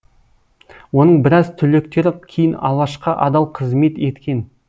оның біраз түлектері кейін алашқа адал қызмет еткен